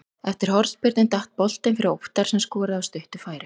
Eftir hornspyrnu datt boltinn fyrir Óttar sem skoraði af stuttu færi.